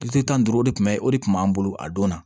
Kilisi tan ni duuru o de tun bɛ o de kun b'an bolo a don na